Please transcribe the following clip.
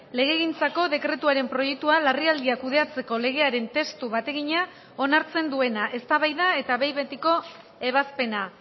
legegintzako dekretuaren proiektua larrialdiak kudeatzeko legearen testu bategina onartzen duena eztabaida eta behin betiko ebazpena